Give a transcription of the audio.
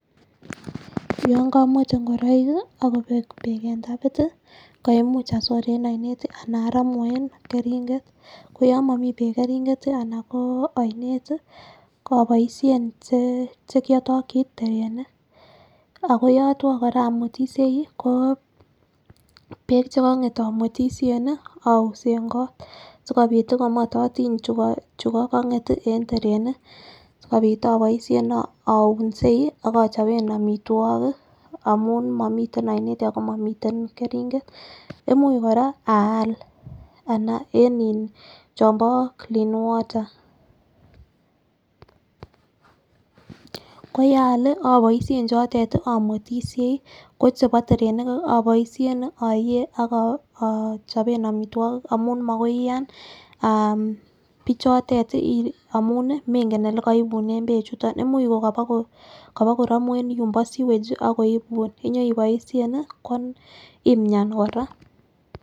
Yon kowete ingoroik kii ak Kobek beek en tapit tii koimuch asor en oinet tii anan oromu en keringet koyon momii beek keringet anan ko oinet tii oboishen chekiotiki terenik, ako yotwo Koraa omwetishei ko beek chekonget omwetishen nii ousen kot sikopit tii komototiny chukokonget en terenik sikopit oboishen ounsei ak ichoben omitwokik amun momiten oinet ako momiten keringet. Imuch koraa anan en in chombo clean water .Koyaal lii oboishen chotet tii omwetishei kochebo terenik oboishen oyee ak ichoben omitwokik amun makoi iyan ah bichotet tii amun menken ole koibunen beek chuton imuch kokobo koromu en yuun bo siwege chii akoibun iyoiboishen nii imyan koraa.